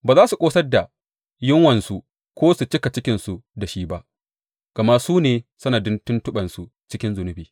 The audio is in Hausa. Ba za su ƙosar da yunwansu ko su cika cikinsu da shi ba, gama su ne sanadin tuntuɓensu cikin zunubi.